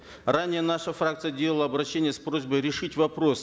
ранее наша фракция делала обращение с просьбой решить вопрос